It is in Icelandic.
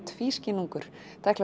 tvískinnungur